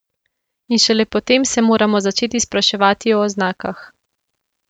In šele potem se moramo začeti spraševati o oznakah.